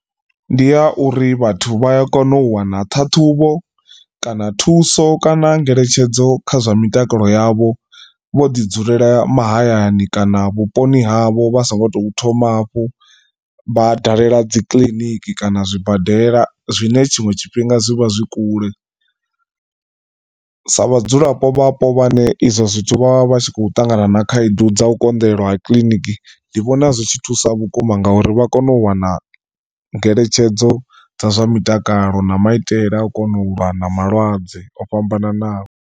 Ndi ya uri vhathu vha ya kona u wana ṱhaṱhuvho kana thuso kana ngeletshedzo kha zwa mitakalo yavho vho ḓi dzulela mahayani kana vhuponi havho vha so ngo tou thoma hafhu vha dalela dzi kiḽiniki kana zwibadela zwine tshinwe tshifhinga zwi vha zwi kule. Sa vhadzulapo vhapo vhane izwo zwithu vha vha tshi khou ṱangana na khaedu dza u konḓelwa ha kiḽiniki ndi vhona zwi tshi thusa vhukuma ngauri vha kone u wana ngeletshedzo dza zwa mutakalo na maitele a u kona u lwa na malwadze o fhambananaho.